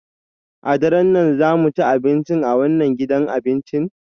A daren nan za mu ci abinci a wannan gidan abincin?